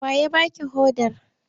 Wa ya ba ki hodar?